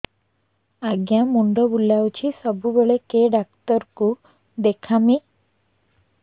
ଆଜ୍ଞା ମୁଣ୍ଡ ବୁଲାଉଛି ସବୁବେଳେ କେ ଡାକ୍ତର କୁ ଦେଖାମି